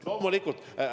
Loomulikult!